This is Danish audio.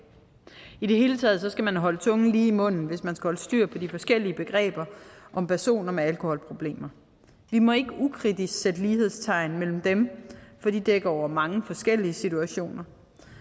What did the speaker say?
i det hele taget skal man holde tungen lige i munden hvis man skal holde styr på de forskellige begreber om personer med alkoholproblemer vi må ikke ukritisk sætte lighedstegn mellem dem for de dækker over mange forskellige situationer